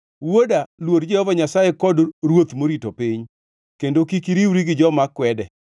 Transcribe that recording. Wuoda, luor Jehova Nyasaye kod ruoth morito piny, kendo kik iriwri gi joma kwede,